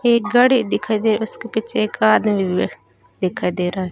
एक गाड़ी दिखाई दे रही उसके पीछे एक आदमी भी दिखाई दे रहा है।